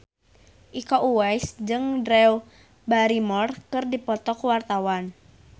Iko Uwais jeung Drew Barrymore keur dipoto ku wartawan